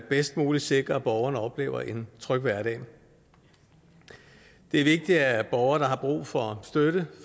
bedst muligt sikrer at borgerne oplever en tryg hverdag det er vigtigt at borgere der har brug for støtte